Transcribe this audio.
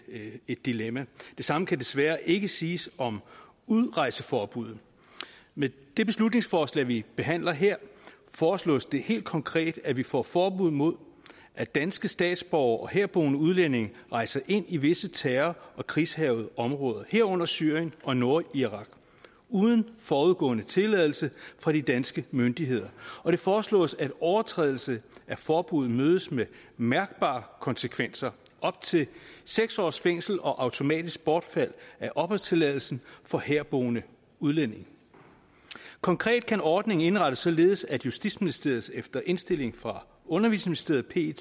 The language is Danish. dilemma det samme kan desværre ikke siges om udrejseforbuddet med det beslutningsforslag vi behandler her foreslås det helt konkret at vi får et forbud mod at danske statsborgere og herboende udlændinge rejser ind i visse terror og krigshærgede områder herunder syrien og nordirak uden forudgående tilladelse fra de danske myndigheder og det foreslås at en overtrædelse af forbuddet mødes med mærkbare konsekvenser op til seks års fængsel og automatisk bortfald af opholdstilladelsen for herboende udlændinge konkret kan ordningen indrettes således at justitsministeriet efter indstilling fra undervisningsministeriet